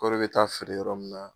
Kɔri be taa feere yɔrɔ min na